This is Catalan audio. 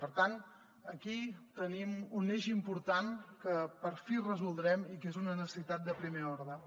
per tant aquí tenim un eix important que per fi resoldrem i que és una necessitat de primer ordre